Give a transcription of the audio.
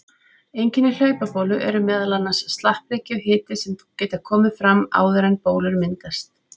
Einkenni hlaupabólu eru meðal annars slappleiki og hiti sem geta komið áður en bólur myndast.